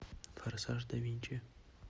форсаж да винчи